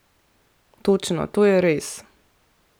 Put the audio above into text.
Točno, to je res!